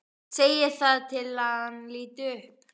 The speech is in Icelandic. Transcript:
Segir það til að hann líti upp.